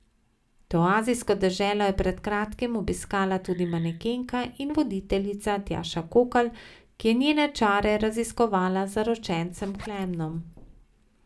To azijsko deželo je pred kratkim obiskala tudi manekenka in voditeljica Tjaša Kokalj, ki je njene čare raziskovala z zaročencem Klemnom.